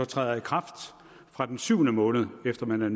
træder i kraft fra den syvende måned efter man er